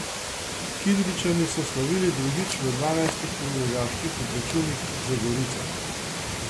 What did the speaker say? Kidričani so slavili drugič v dvanajstih prvoligaških obračunih z Gorico.